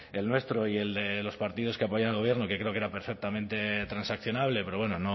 el nuestro y el de los partidos que apoyan al gobierno que creo que era perfectamente transaccionable pero bueno